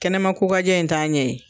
Kɛnɛma ko ka jɛ in t'a ɲɛ ye.